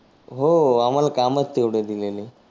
हो आम्हाला कामचं तेव्हढे दिलेले.